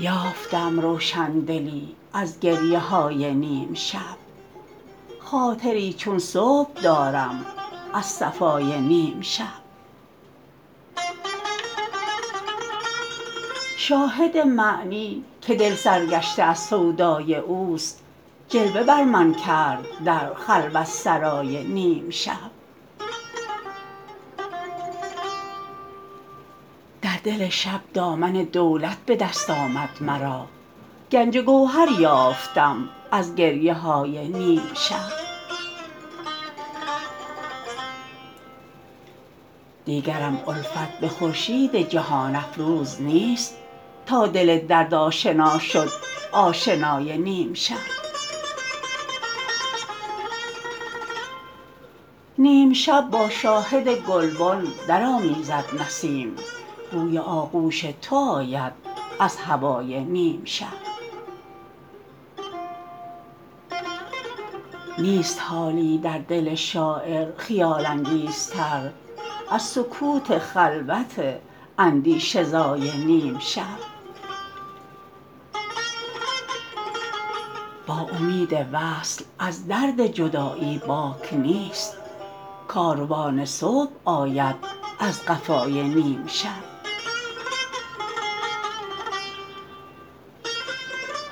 یافتم روشندلی از گریه های نیم شب خاطری چون صبح دارم از صفای نیم شب شاهد معنی که دل سر گشته از سودای اوست جلوه بر من کرد در خلوت سرای نیم شب در دل شب دامن دولت به دست آمد مرا گنج گوهر یافتم از گریه های نیم شب دیگرم الفت به خورشید جهان افروز نیست تا دل درد آشنا شد آشنای نیم شب نیم شب با شاهد گلبن درآمیزد نسیم بوی آغوش تو آید از هوای نیم شب نیست حالی در دل شاعر خیال انگیزتر از سکوت خلوت اندیشه زای نیم شب با امید وصل از درد جدایی باک نیست کاروان صبح آید از قفای نیم شب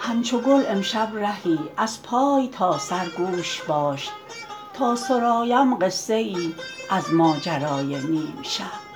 همچو گل امشب رهی از پای تا سر گوش باش تا سرایم قصه ای از ماجرای نیم شب